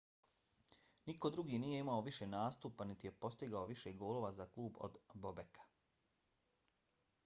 niko drugi nije imao više nastupa niti je postigao više golova za klub od bobeka